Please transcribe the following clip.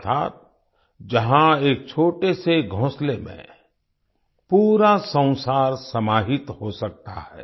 अर्थात जहाँ एक छोटे से घोंसले में पूरा संसार समाहित हो सकता है